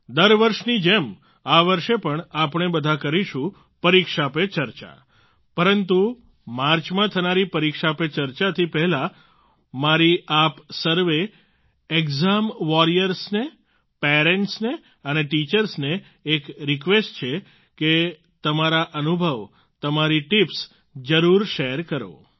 દર વર્ષની જેમ આ વર્ષે પણ આપણે બધા કરીશું પરીક્ષા પે ચર્ચા પરંતુ માર્ચમાં થનારી પરીક્ષા પે ચર્ચાથી પહેલા મારી આપ સર્વે એક્ઝામ્સ વોરિયર્સને પેરન્ટ્સને અને ટીચર્સને એક રિક્વેસ્ટ છે કે તમારા અનુભવ તમારી ટીપ્સ જરૂર શેર કરો